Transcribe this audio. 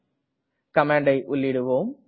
இப்போது கமாண்டை உள்ளீடுவோம்